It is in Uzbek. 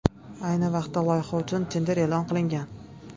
Ayni vaqtda loyiha uchun tender e’lon qilingan.